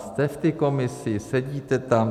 Jste v té komisi, sedíte tam.